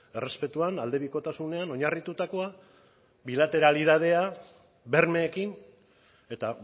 errespetuan aldebikotasunean oinarritutakoa bilateralitatea bermeekin eta